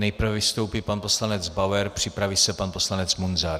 Nejprve vystoupí pan poslanec Bauer, připraví se pan poslanec Munzar.